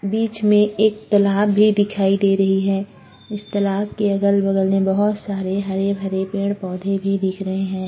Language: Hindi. बीच में एक तलाब भी दिखाई दे रही है इस तलाब के अगल-बगल में बहोत सारे हरे-भरे पेड़-पौधे भी दिख रहें हैं।